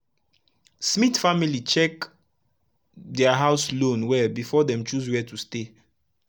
smith family check dia house loan well before dem choose were to stay